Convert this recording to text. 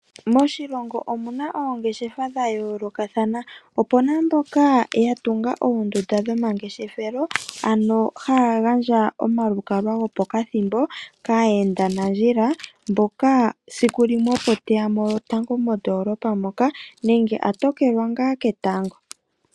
Moshilongo omuna oongeshefa dhayoolokathana opena mboka ya tunga oondunda dhomangeshefelo ano haya gandja omalukalwa gopokathimbo kaayenda nandjila sikulimwe opo teya mo lotango mondolopa moka nenge a tokelwa ngaa ketango.